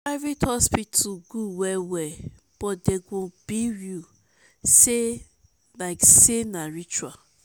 private hospital gud wel wel but dem go bill yu lyk sey na ritual